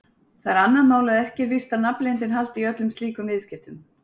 Það er annað mál að ekki er víst að nafnleyndin haldi í öllum slíkum viðskiptum.